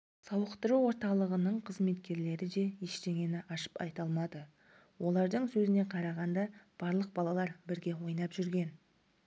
сауықтыру орталығының қызметкерлері де ештеңені ашып айта алмады олардың сөзіне қарағанда барлық балалар бірге ойнап жүрген